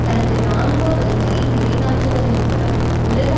தனது இராணுவ வலிமையை நிலைநாட்டுவதன் மூலம் உலக